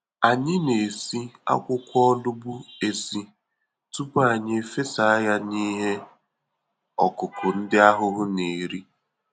Anyị na-esi akwụkwọ olugbu esi, tupu anyị efesa ya n'ihe ọkụkụ ndị ahụhụ n'eri.